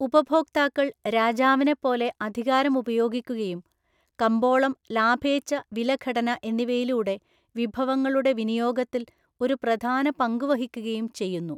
ഉപഭോക്താക്കൾ രാജാവിനെപ്പോലെ അധികാരം ഉപയോഗിക്കുകയും കമ്പോളം ലാഭേച്ഛ വിലഘടന എന്നിവയിലൂടെ വിഭവങ്ങളുടെ വിനിയോഗത്തിൽ ഒരു പ്രധാന പങ്കുവഹിക്കുകയും ചെയ്യുന്നു.